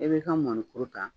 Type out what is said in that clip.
E bɛ ka mɔnikuru ta